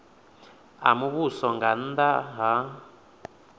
a muvhuso nga nnda ha